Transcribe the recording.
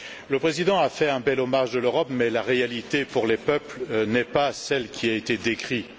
Le Président a rendu un bel hommage à l'Europe mais la réalité pour les peuples n'est pas celle qui a été décrite.